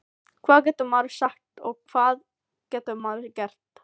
Hvað getur maður sagt og hvað getur maður gert?